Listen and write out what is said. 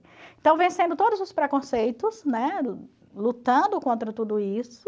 Então, vencendo todos os preconceitos, né, lutando contra tudo isso,